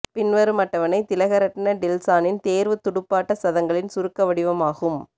பின்வரும் அட்டவணை திலகரட்ன டில்சானின் தேர்வுத் துடுப்பாட்ட சதங்களின் சுருக்க வடிமாகும்